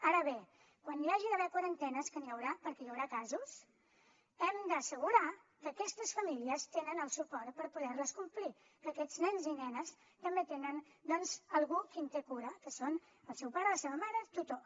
ara bé quan hi hagi d’haver quarantenes que n’hi haurà perquè hi haurà casos hem d’assegurar que aquestes famílies tenen el suport per poder les complir que aquests nens i nenes també tenen doncs algú qui en té cura que són el seu pare la seva mare o tutor